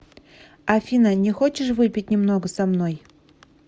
афина не хочешь выпить немного со мной